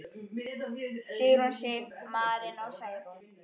Sigrún Sif, Marinó og Særún.